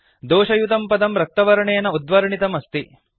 दोषयुतं पदं रक्तवर्णेन उद्वर्णितं अस्ति